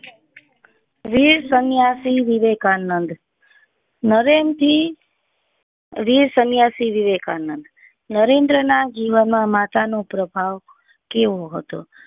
વીર સન્યાસી વિવેકાનંદ નરેન થી વીર સન્યાસી વિવેકાનંદ નરેન્દ્ર ના જીવન માં માતા નો પ્રભાવ કેવો હતો